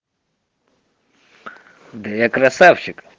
да я красавчик